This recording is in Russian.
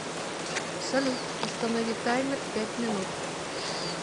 салют установи таймер пять минут